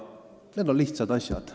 Need on lihtsad asjad.